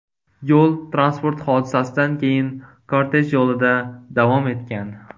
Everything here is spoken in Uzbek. Yo‘l-transport hodisasidan keyin kortej yo‘lida davom etgan.